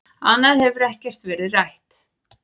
Annað hefur ekkert verið rætt